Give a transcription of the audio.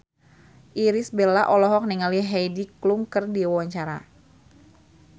Irish Bella olohok ningali Heidi Klum keur diwawancara